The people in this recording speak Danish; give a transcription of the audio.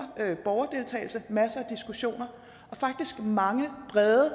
borgerdeltagelse masser af diskussioner og faktisk mange brede